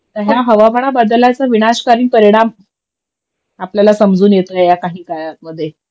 तर ह्या हवामाना बदलाचा विनाशकारी परिणाम आपल्याला समजून येतोय या काही काळातमध्ये